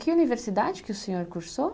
Que universidade que o senhor cursou?